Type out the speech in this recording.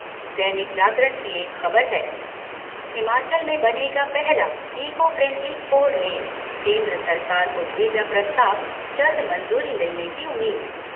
दैनिक जागरण की एक ख़बर है हिमाचल में बनेगा पहला इको फ्रैंडली फोरलेन, केंद्र सरकार को भेजा प्रस्ताव, जल्द मंजूरी मिलने की उम्मीद